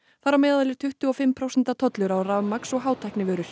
þar á meðal er tuttugu og fimm prósenta tollur á rafmagns og